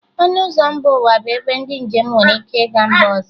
Ọnụ ụzọ mba ụwa bụ ebe ndị njem nwere ike ịga mba ọzọ